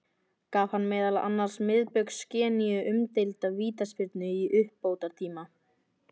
Gaf hann meðal annars Miðbaugs Gíneu umdeilda vítaspyrnu í uppbótartíma.